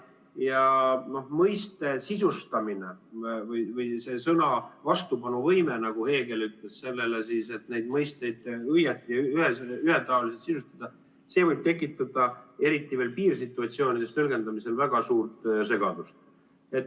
Ja mõiste sisustamine või sõna vastupanuvõime – nagu Hegel ütles – sellele, et neid mõisteid õigesti ja ühetaoliselt sisustada, võib tekitada, eriti veel piirsituatsioonides, tõlgendamisel väga suurt segadust.